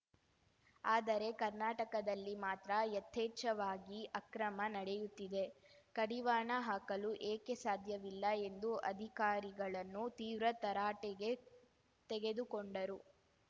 ಆದರೆ ಕರ್ನಾಟಕದಲ್ಲಿ ಮಾತ್ರ ಯಥೇಚ್ಛವಾಗಿ ಅಕ್ರಮ ನಡೆಯುತ್ತಿದೆ ಕಡಿವಾಣ ಹಾಕಲು ಏಕೆ ಸಾಧ್ಯವಿಲ್ಲ ಎಂದು ಅಧಿಕಾರಿಗಳನ್ನು ತೀವ್ರ ತರಾಟೆಗೆ ತೆಗೆದುಕೊಂಡರು